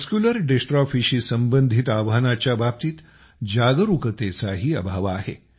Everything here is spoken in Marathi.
मस्क्युलर डिस्ट्रॉफीशी संबंधित आव्हानाच्या बाबतीत जागरूकतेचाही अभाव आहे